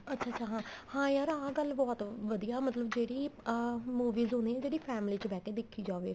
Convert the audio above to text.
ਅੱਛਾ ਅੱਛਾ ਹਾਂ ਹਾਂ ਯਾਰ ਆਹ ਗੱਲ ਬਹੁਤ ਵਧੀਆ ਮਤਲਬ ਜਿਹੜੀ ਆ movie ਹੁੰਨੀ ਏ ਜਿਹੜੀ family ਚ ਬਿਹ ਕੇ ਦੇਖੀ ਜਾਵੇ